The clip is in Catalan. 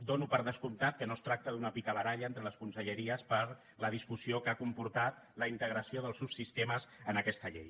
dono per descomptat que no es tracta d’una picabaralla entre les conselleries per la discussió que ha comportat la integració dels subsistemes en aquesta llei